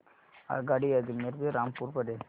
आगगाडी अजमेर ते रामपूर पर्यंत